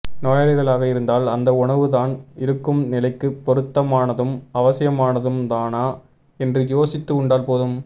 நோயாளிகளாக இருந்தால் அந்த உணவு தான் இருக்கும் நிலைக்குப் பொருத்தமானதும் அவசியமானதும்தானா என்று யோசித்து உண்டால் போதும்